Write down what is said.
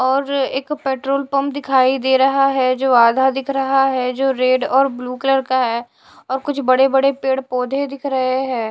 और एक petrol pump दिखाई दे रहा है जो आधा दिख रहा है जो रेड और ब्लू कलर का है और कुछ बड़े-बड़े पेड़-पौधे दिख रहे हैं।